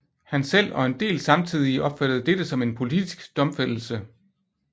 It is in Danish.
Han selv og en del samtidige opfattede dette som en politisk domfældelse